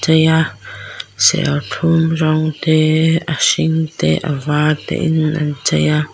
eiia serthlum rawngte a hring te a var te in an chei a.